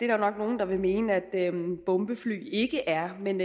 nok nogle der vil mene at bombefly ikke er men